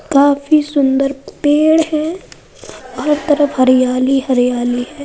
काफी सुन्दर पेड़ है। हर तरफ हरियाली हरियाली हैं।